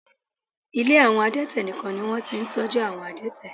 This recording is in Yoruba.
Ilé àwọn adẹ́tẹ̀ nìkan ni wọ́n ti ń tọ́jú àwọn adẹ́tẹ̀